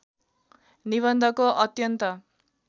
निबन्धको अत्यन्त